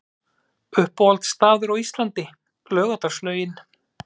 Uppáhalds staður á Íslandi: Laugardalslaugin